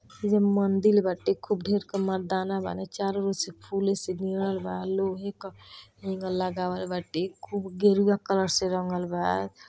ये मंदिल बाटे खूब घेर का मर्दाना वाले चारों ओर से फूल से घिरलवा लोहे का एंगल लगावल बाटे खूब गेरूआ कलर से रंगल बा |